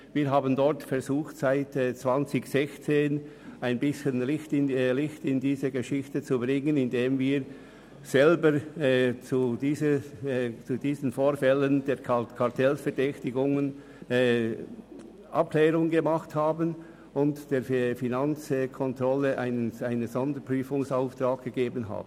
Wir haben seit 2016 versucht, etwas Licht in die Angelegenheit zu bringen, indem wir selber Abklärungen zum Verdacht eines Kartells getroffen und der Finanzkontrolle einen Sonderprüfungsauftrag erteilt haben.